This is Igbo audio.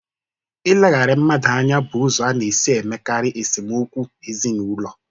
Ileghara mmadụ anya bụ ụzọ a na-esi emekarị esemokwu ezinụlọ.